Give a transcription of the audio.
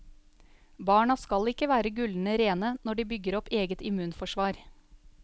Barna skal ikke være gullende rene når de bygger opp eget immunforsvar.